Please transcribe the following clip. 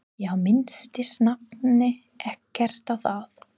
Já, minntist nafni ekkert á það?